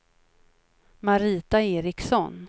Marita Eriksson